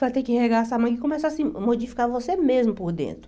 Vai ter que regar essa manga e começar a se modificar você mesmo por dentro.